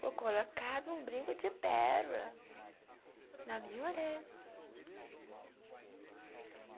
Vou colocar um brinco de pérola na minha orelha.